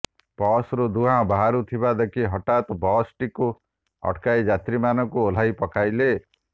ବସ୍ରୁ ଧୁଆଁ ବାହାରୁଥିବା ଦେଖି ହଠାତ୍ ବସ୍ଟିକୁ ଅଟକାଇ ଯାତ୍ରୀମାନଙ୍କୁ ଓହ୍ଲାଇ ପକାଇଲେ